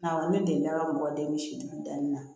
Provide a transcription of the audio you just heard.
Awɔ ne delila ka mɔgɔ den misi dugu danni na